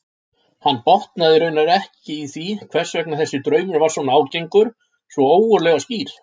Hann botnaði raunar ekki í hvers vegna þessi draumur var svona ágengur, svona ógurlega skýr.